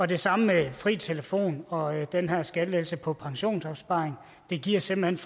det samme med fri telefon og den her skattelettelse på pensionsopsparing det giver simpelt